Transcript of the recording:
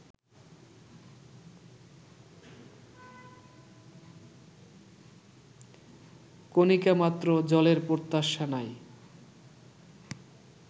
কণিকামাত্র জলের প্রত্যাশা নাই